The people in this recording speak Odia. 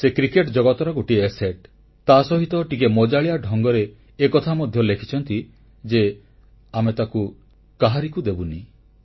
ସେ କ୍ରିକେଟ ଜଗତର ଗୋଟିଏ ସମ୍ପତ୍ତି ଆସେଟ୍ ତାସହିତ ଟିକିଏ ମଜାଳିଆ ଢଙ୍ଗରେ ଏକଥା ମଧ୍ୟ ଲେଖିଛନ୍ତି ଯେ ଆମେ ତାକୁ କାହାରିକୁ ଦେବୁନି